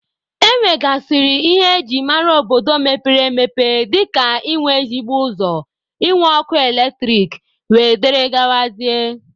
E nwegasịrị ihe eji mara obodo mepere emepe dịka ị nwe ezigbo ụzọ, ị nwe ọkụ eletrik wdg.